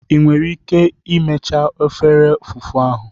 Ị nwere ike mechaa efere fufu ahụ?